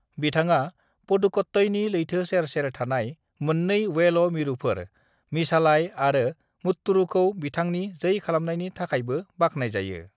"बिथाङा पुदुकट्टईनि लैथो सेर-सेर थानाय मोननै 'वेल' मिरुफोर, मिझालाई आरो मुत्तुरुखौ बिथांनि जै खालामनायनि थाखायबो बाख्नायजायो।"